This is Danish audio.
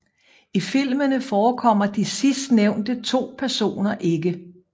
I filmene forekommer de sidstnævnte to personer ikke